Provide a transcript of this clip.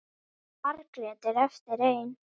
Margrét er eftir ein.